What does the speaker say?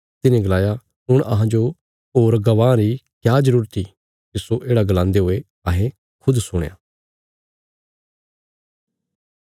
तिन्हे गलाया हुण अहांजो होर गवांह री क्या जरूरत इ तिस्सो येढ़ा गलांदे हुये अहें खुद सुणया